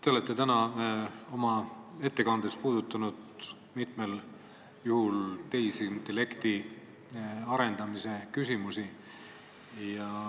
Te olete täna oma ettekandes puudutanud mitmel juhul tehisintellekti arendamise küsimusi.